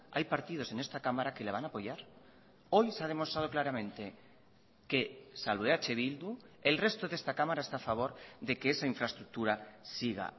hay partidos en esta cámara que le van a apoyar hoy se ha demostrado claramente que salvo eh bildu el resto de esta cámara está a favor de que esa infraestructura siga